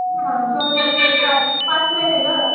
दोन आणि तीन पाच पाच महिने गं.